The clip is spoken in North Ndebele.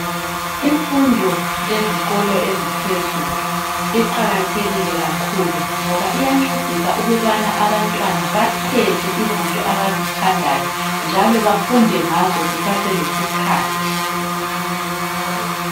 Imfundo yezikolo eziphezulu iqakathekile kakhulu ngoba iyancedisa ukubana abantwana bakhethe izinto abazithandayo njalo bafunde ngazo kusaselesikhathi.